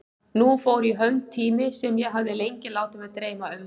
Nú fór í hönd tími sem ég hafði lengi látið mig dreyma um.